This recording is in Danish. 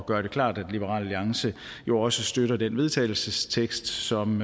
gøre det klart at liberal alliance jo også støtter den vedtagelsestekst som